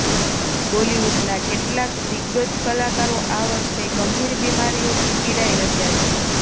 બોલીવુડના કેટલાક દિગગજ કલાકારો આ વર્ષે ગંભીર બીમારીઓથી પીડાઈ રહ્યા છે